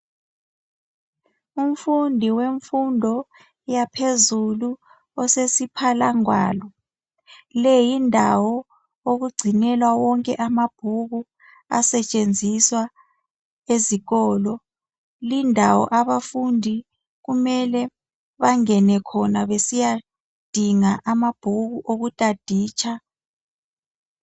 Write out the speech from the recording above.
Umfundi wemfundo yaphezulu osesiphalangwalo. Le yindawo okugcinelwa wonke amabhuku asetshenziswa ezikolo. Lindawo abafundi kumele bangene khona besiyadinga ama bhuku oku taditsha